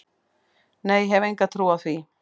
Nei ég hef enga trú á því.